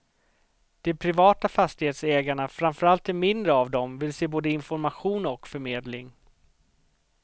De privata fastighetsägarna, framförallt de mindre av dem, vill se både information och förmedling.